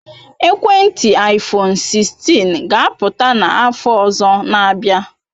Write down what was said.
Ekwentị iphone 16 ga apụta n'afọ ọzọ na abia